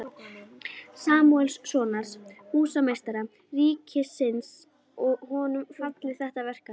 Samúelssonar, húsameistara ríkisins, og honum falið þetta verkefni.